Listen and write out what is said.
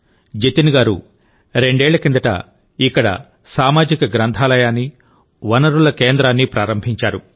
జతిన్ గారు రెండేళ్లకిందట ఇక్కడ సామాజిక గ్రంథాలయాన్ని వనరుల కేంద్రాన్ని ప్రారంభించారు